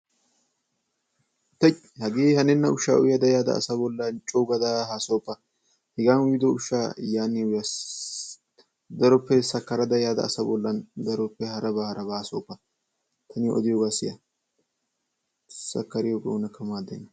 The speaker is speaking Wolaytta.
Tuuy! Hagee hanenna ushshaa uyada yaada asa bolla coogada haasayoppa. Hegaa uyido ushshaa niyo yan uya. Daroppe sakkarada yaada asa bollan daroppe harabaa harabaa haasayoppa. Ta niyo odiyogaa siya. Sakkariyogee oonakka maaddenna.